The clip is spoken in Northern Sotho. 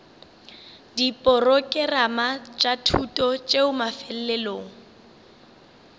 diporokerama tša thuto tšeo mafelelong